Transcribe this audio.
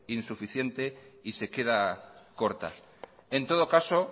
insuficiente y se queda corta en todo caso